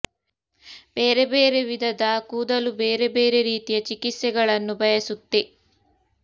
ಬೇರೆ ಬೇರೆ ವಿಧಧ ಕೂದಲು ಬೇರೆ ಬೇರೆ ರೀತಿಯ ಚಿಕಿತ್ಸೆಗಳನ್ನು ಬಯಸುತ್ತೆ